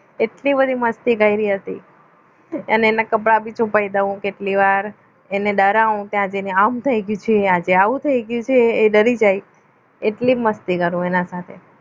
એટલી બધી મસ્તી કરી હતી અને એના કપડાં પણ છુપાવી દઉં કેટલી વાર એને ડરાવો ત્યાં જઈને આમ થઈ ગયું આજે આવું થઈ ગયું છે એ ડરી જાય એટલી મસ્તી કરું એના સાથે